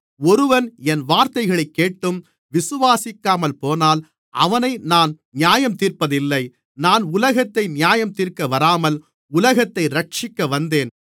ஒருவன் என் வார்த்தைகளைக் கேட்டும் விசுவாசிக்காமல்போனால் அவனை நான் நியாயந்தீர்ப்பதில்லை நான் உலகத்தை நியாயந்தீர்க்க வராமல் உலகத்தை இரட்சிக்க வந்தேன்